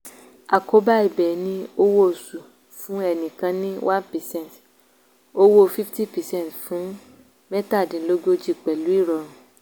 àkóbá ibẹ̀ ni owó oṣù fún ẹnìkan ní one percent owó fifty percent fún mẹ́tàdínlógójì pẹ̀lú ìrọ̀rùn